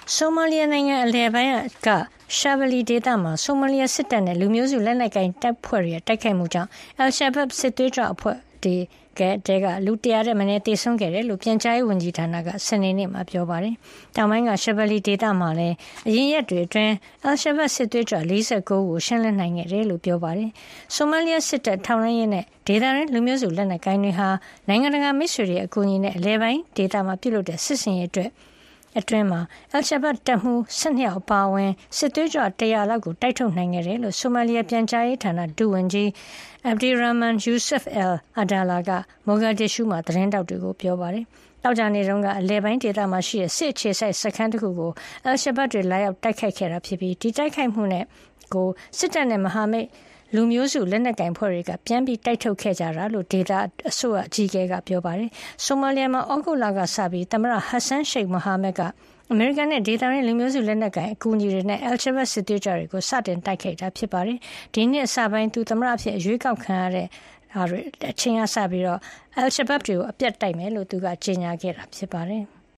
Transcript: ဆိုမာလီယာ နိုင်ငံ အလယ်ပိုင်း Shabelle ဒေသမှာ ဆိုမာလီယာစစ်တပ်နဲ့ လူမျိုးစုလက်နက်ကိုင်အဖွဲ့တွေရဲ့ တိုက်ခိုက်မှုကြောင် al-Shabab စစ်သွေးကြွ ၁၀၀ ထက်မနည်း သေဆုံးသွားတယ်လို့ ပြန်ကြားရေးဝန်ကြီးဌာနက စနေနေ့မှာ ပြောပါတယ်။ တောင်ပိုင်း Shabelle ဒေသမှာလည်း အရင်ရက်တွေ အတွင်း al-Shabab စစ်သွေးကြွ ၄၉ ဦးကို ရှင်းလင်းနိုင်ခဲ့တယ်လို့ ပြောပါတယ်။ ဆိုမာလီယာစစ်တပ်၊ ထောက်လှမ်းရေးနဲ့ ဒေသတွင်းလူမျိုးစု လက်နက်ကိုင်တွေဟာ နိုင်ငံတကာမိတ်ဆွေတွေရဲ့ အကူအညီနဲ့ အလယ်ပိုင်းဒေသမှာ ပြုလုပ်ခဲ့တဲ့ စစ်ဆင်ရေးအတွင်း al-Shabab တပ်မှုး ၁၂ ယောက်အပါအဝင် စစ်သွေးကြွ ၁၀၀ လောက်ကို တိုက်ထုတ်နိုင်ခဲ့တယ်လို့ ဆိုမာလီယာ ပြန်ကြားရေးဒုဝန်ကြီး Abdirahman Yusuf Al-Adala က မိုဂါဒစ်ရူးမှာ သတင်းထောက်တွေကို ပြောပါတယ်။ သောကြာနေ့က အလယ်ပိုင်း Galgaduud ဒေသမှာရှိတဲ့ စစ်အခြေစိုက်စခန်းတခုကို al-Shabab တွေ လာရောက်တိုက်ခိုက်ခဲ့တာ ဖြစ်ပြီး ဒီတိုက်ခိုက်မှုကို စစ်တပ်နဲ့ မဟာမိတ် လူမျိုးစုလက်နက်ကိုင် အဖွဲ့တွေက ပြန်တိုက်ထုတ်ခဲ့ကြတာလို့ ဒေသအစိုးရအကြီးအကဲက ပြောပါတယ်။ ဆိုမာလီယာမှာ သြဂုတ်လကစပြီး ဆိုမာလီယာသမ္မတ Hassan Sheikh Mohamud က အမေရိကန်နဲ့ ဒေသတွင်းလူမျိုးစုလက်နက်ကိုင် အဖွဲ့တွေရဲ့ အကူအညီနဲ့ Al-Shabab စစ်သွေးကြွတွေကို စတင်တိုက်ခိုက်ခဲ့တာပါ။ ဒီနှစ်အစပိုင်းမှာ သမ္မတအဖြစ် အရွေးကောက်ခံခဲ့ရတဲ့ Mohamad က al-Shabab တွေကို အပြတ်တိုက်မယ်လို့ ကြေညာခဲ့တာ ဖြစ်ပါတယ်။